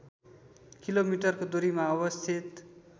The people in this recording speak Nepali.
किलोमिटरको दूरीमा अवस्थित